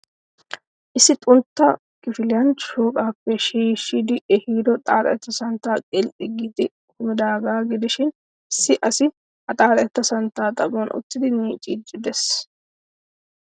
Issi xuntta kifiliyaan shooqaappe shiishshidi ehiido xaaxetta santtay qilxxi giidi kumidaagaa gidishiin issi asi ha xaaxetta santtaa xaphoon uttidi miciidi de'ees.